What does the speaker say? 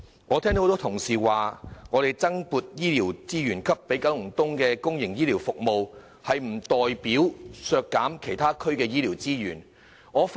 我聽到多位同事說，增撥資源予九龍東的公營醫療服務，可能意味其他區的醫療資源會遭削減。